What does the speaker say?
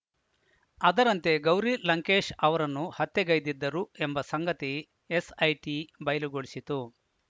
ಅದರಂತೆ ಗೌರಿ ಲಂಕೇಶ್‌ ಅವರನ್ನು ಹತ್ಯೆಗೈದಿದ್ದರು ಎಂಬ ಸಂಗತಿ ಎಸ್‌ಐಟಿ ಬಯಲುಗೊಳಿಸಿತು